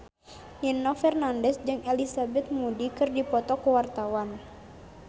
Nino Fernandez jeung Elizabeth Moody keur dipoto ku wartawan